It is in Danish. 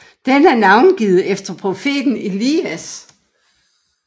Den er navngivet efter profeten Elias